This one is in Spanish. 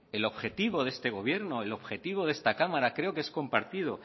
el objetivo de este gobierno el objetivo de esta cámara creo que es compartido